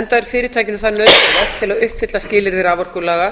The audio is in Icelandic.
enda er fyrirtækinu það nauðsynlegt til að uppfylla skilyrði raforkulaga